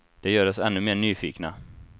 Det gör oss ännu mer nyfikna.